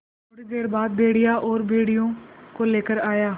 थोड़ी देर बाद भेड़िया और भेड़ियों को लेकर आया